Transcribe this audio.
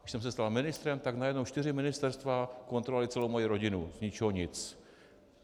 Když jsem se stal ministrem, tak najednou čtyři ministerstva kontrolovala celou moji rodinu, z ničeho nic.